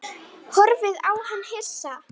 Blóðið ólgaði í æðum hans.